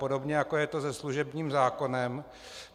Podobně jako je to se služebním zákonem.